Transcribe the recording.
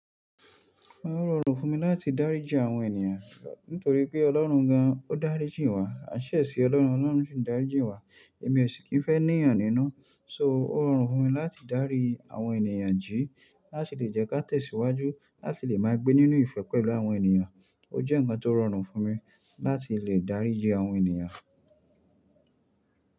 Òún rọrùn fún mi láti dáríji àwọn ènìyàn nítorí pé Ọlọ́run gan o dáríjì wá, a ṣẹ̀ sí Ọlọ́run, Ọlọ́run sì ń dáríjì wá. Èmi o sì kì í fẹ́ níyàn ní ná. So ó rọrùn fún mi láti dárí àwọn ènìyàn jí láti lè jẹ́ ká tẹ̀síwájú láti lè máa gbé nínú ìfẹ́ pẹ̀lú àwọn ènìyàn. Ó jẹ́ ǹkan tó rọrùn fún mi láti lè dáríji àwọn ènìyàn.